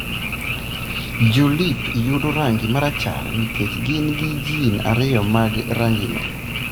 Jo-leep yudo rangi marachar nikech gin gi gene ariyo mag rangino.